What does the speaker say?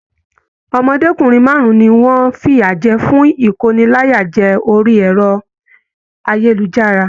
Ọmọdékunrin márùn ní wọn fiyajẹ fún ikóníláyàjẹ̀ orí ẹrọ ayélujára.